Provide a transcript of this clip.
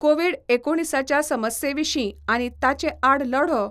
Covid एकुणीसाच्या समस्ये विशीं आनी ताचे आड लढो